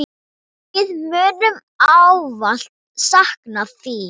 Við munum ávallt sakna þín.